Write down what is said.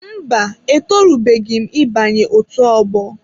Mba, etorubeghị m ị banye otu ọgbọ.